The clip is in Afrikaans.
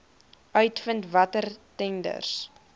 uitvind watter tenders